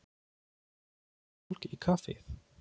Viltu mjólk í kaffið?